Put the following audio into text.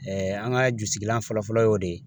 an ka jusigilan fɔlɔ fɔlɔ y'o de ye